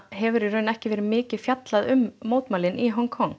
hefur í raun ekki verið mikið fjallað um mótmælin í Hong Kong